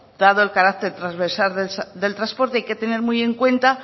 dado el carácter transversal del transporte hay que tener muy en cuenta